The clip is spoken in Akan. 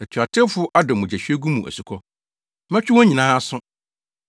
Atuatewfo adɔ mogyahwiegu mu asukɔ. Mɛtwe wɔn nyinaa aso.